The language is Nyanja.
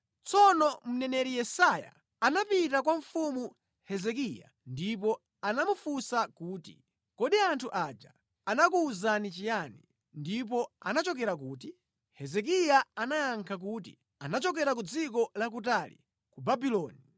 Tsono mneneri Yesaya anapita kwa mfumu Hezekiya ndipo anamufunsa kuti, “Kodi anthu aja anakuwuzani chiyani, ndipo anachokera kuti?” Hezekiya anayankha kuti, “Anachokera ku dziko lakutali, ku Babuloni.”